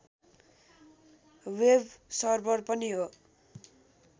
web server पनि हो